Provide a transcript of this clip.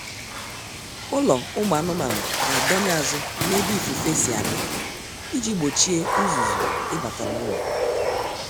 Ụlọ ụmụ anụmanụ ga-adọnye azụ n'ebe ifufe si abịa iji gbochie ụzụzụ ịbata n'ụlọ